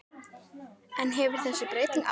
En hefur þessi breyting áhrif?